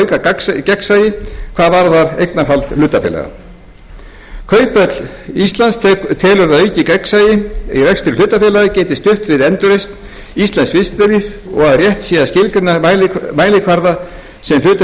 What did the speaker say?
auka gegnsæi hvað varðar eignarhald hlutafélaga kauphöll íslands telur að aukið gegnsæi í rekstri hlutafélaga geti stutt við endurreisn íslensks viðskiptalífs og rétt sé að skilgreina mælikvarða sem hlutafélög